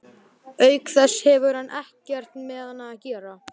Auk þess hefur hann ekkert með hana að gera.